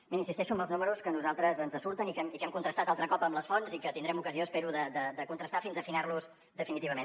miri insisteixo amb els números que a nosaltres ens surten i que hem contrastat altre cop amb les fonts i que tindrem ocasió espero de contrastar fins a afinar los definitivament